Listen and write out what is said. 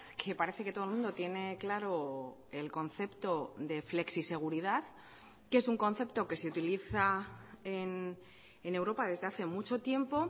que parece que todo el mundo tiene claro el concepto de flexiseguridad que es un concepto que se utiliza en europa desde hace mucho tiempo